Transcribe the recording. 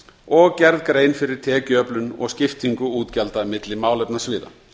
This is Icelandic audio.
og gerð grein fyrir tekjuöflun og skiptingu útgjalda milli málefnasviða